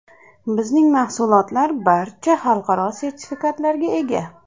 Bizning mahsulotlar barcha xalqaro sertifikatlarga ega.